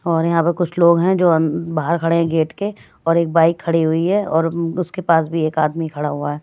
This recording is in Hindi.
और यहाँ पर कुछ लोग हैं जो अन बाहर खड़े हैं गेट के और एक बाइक खड़ी हुई है और अम्म उसके पास भी एक आदमी खड़ा हुआ है।